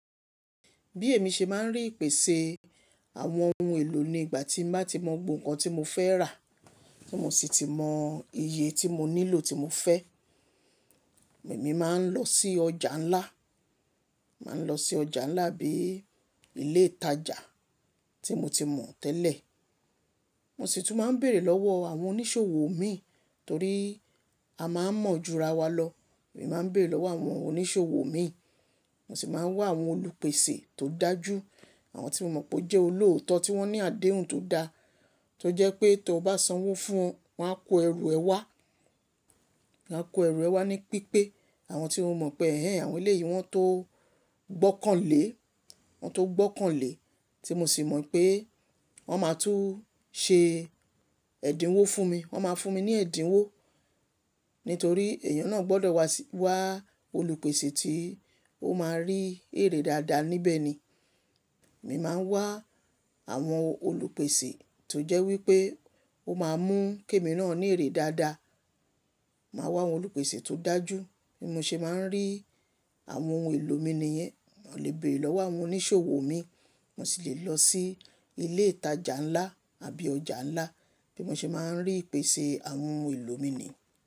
Bí èmi ṣe máa ń rí ìpèsè àwọn oun èlò ní ìgbà tín bá ti mọ gbogbo nǹkan tí mo fẹ́ rà, tí mo sì ti mọ iye tí mo nílò tí mo fẹ́, èmi máa ń lọ sí ọjà ńlá, máa ń lọ sí ọjà ńlá bíi ilé ìtajà tí mo ti mọ̀ tẹ́lẹ̀. Mo sì tún máa ń bèrè lọ́wọ́ àwọn oníṣòwò mi torí a máa ń mọ̀ jú rawa lọ. Èmi máa ń bèrè lọ́wọ́ àwọn oníṣòwò mi, mo sì máa ń wá àwọn olùpèsè tó dájú, àwọn tí mo mọ̀ pé ó jẹ́ olóòótọ́, tí wọ́n ní àdéhùn tó dá, tó jẹ́ pé tó bá sanwó fún wọn, wọn á kó ẹrù ẹ wá, wọn á kó ẹrù ẹ wá ní pípé. Àwọn tí o mọ̀ pé, ehn en, àwọn eléyìí wọn tó gbọ́kànlé, wọn tó gbọ́kànlé tí mo sì mọ̀ pé wọ́n máa tún ṣe ẹ̀dínwó fún mi. Wọn máa fún mi ní ẹ̀dínwó nítorí èèyàn náà gbọ́dọ̀ wá sí, wá olùpèsè tí ó máa rí èrè dáadáa níbẹ̀ ni. Èmi máa ń wá àwọn olùpèsè tó jẹ́ wí pé ó máa mú kémi náà ní èrè dáadáa. Màá wá àwọn olùpèsè tó dájú bí mo ṣe máa ń rí àwọn ohun èlò mi nìyẹn. Mo lè bèrè lọ́wọ́ àwọn oníṣòwò mi, mo sì lè lọ sí ilé ìtajà ńlá àbí ọjà ńlá bí mo ṣe máa ń rí ìpèsè àwọn oun èlò mi ni.